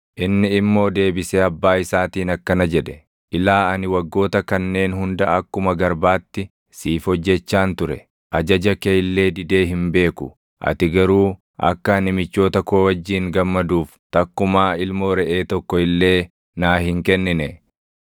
Inni immoo deebisee abbaa isaatiin akkana jedhe; ‘Ilaa ani waggoota kanneen hunda akkuma garbaatti siif hojjechaan ture; ajaja kee illee didee hin beeku. Ati garuu akka ani michoota koo wajjin gammaduuf takkumaa ilmoo reʼee tokko illee naa hin kennine.